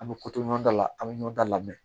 An bɛ ko to ɲɔgɔn da la an bɛ ɲɔnda lamɛn